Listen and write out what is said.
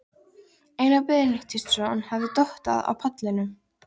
Einar Benediktsson hafði dottað á pallinum.